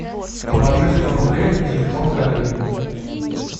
положи сто рублей на телефон коллеги